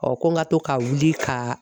ko n ka to ka wili ka